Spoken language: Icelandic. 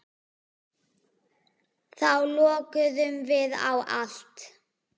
Þá lokuðum við á allt.